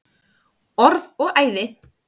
Orð og æði.